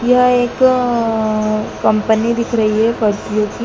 यह एक अअ कंपनी दिख रही है परफ्यूम की।